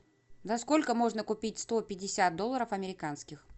за сколько можно купить сто пятьдесят долларов американских